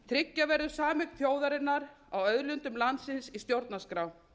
tryggja verður sameign þjóðarinnar á auðlindum landsins í stjórnarskrá